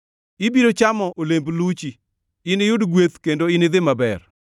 Ibiro chamo olemb luchi; iniyud gweth kendo inidhi maber.